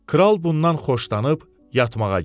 Kral bundan xoşlanıb yatmağa getdi.